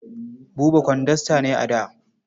Buba kwandasta ne a da.